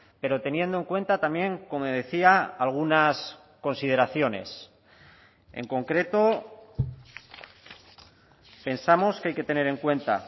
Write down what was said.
pero teniendo en cuenta también como decía algunas consideraciones en concreto pensamos que hay que tener en cuenta